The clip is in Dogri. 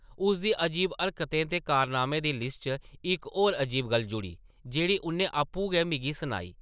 उसदी अजीब हरकतें ते कारनामें दी लिस्ट च इक होर अजीब गल्ल जुड़ी, जेह्ड़ी उʼन्नै आपूं गै मिगी सनाई ।